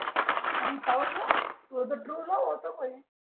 तूह त true love होत काही